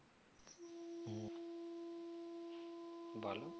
বলো